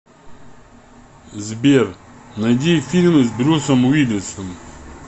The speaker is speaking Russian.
сбер найди фильмы с брюсом уилисом